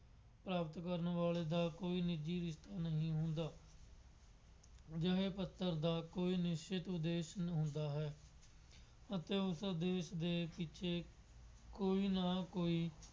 ਪ੍ਰਾਪਤ ਕਰਨ ਵਾਲੇ ਦਾ ਕੋਈ ਨਿੱਜੀ ਰਿਸ਼ਤਾ ਨਹੀਂ ਹੁੰਦਾ। ਜਿਵੇਂ ਪੱਤਰ ਦਾ ਕੋਈ ਨਿਸ਼ਚਿਤ ਉਦੇਸ਼ ਹੁੰਦਾ ਹੈ ਅਤੇ ਉਸ ਉਦੇਸ਼ ਦੇ ਪਿੱਛੇ ਕੋਈ ਨਾ ਕੋਈ